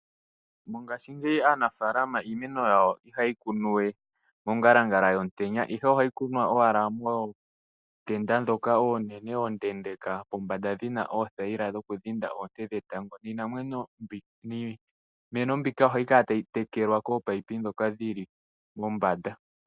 Mongashingeyi aanafaalama iimeno yawo ihayi kunwa we mongalangala yomutenya ashike ohayi kunwa owala mootenda ndhoka oonene oondeendeeka pombanda dhi na oothayila dhokudhinda oonte dhetango niimeno mbika ohayi kala tayi tekelwa kominino dhomeya ndhoka dhili mombanda.